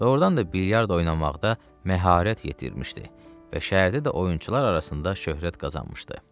Doğurdan da bilyard oynamaqda məharət yetirmişdi və şəhərdə də oyunçular arasında şöhrət qazanmışdı.